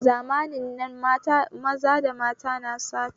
Zamanin na maza da mata na sata